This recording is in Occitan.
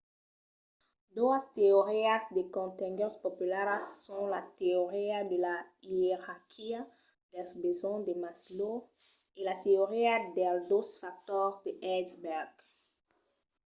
doas teorias de contenguts popularas son la teoria de la ierarquia dels besonhs de maslow e la teoria dels dos factors de hertzberg